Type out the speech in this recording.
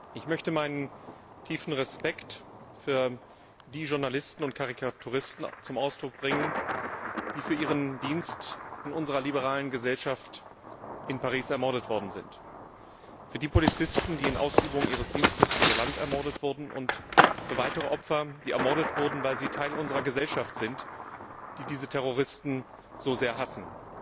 Ich möchte meinen tiefen Respekt für die Journalisten und Karikaturisten zum Ausdruck bringen, die für ihren Dienst an unserer liberalen Gesellschaft in Paris ermordet worden sind, für die Polizisten, die in Ausübung ihres Dienstes für ihr Land ermordet wurden, und für weitere Opfer, die ermordet wurden, weil sie Teil unserer Gesellschaft sind, die diese Terroristen so sehr hassen.